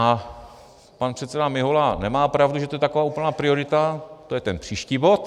A pan předseda Mihola nemá pravdu, že to je taková úplná priorita - to je ten příští bod.